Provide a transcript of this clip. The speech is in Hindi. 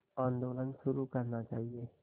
आंदोलन शुरू करना चाहिए